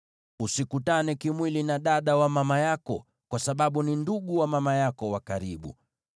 “ ‘Usikutane kimwili na dada wa mama yako, kwa sababu ni ndugu wa mama yako wa karibu.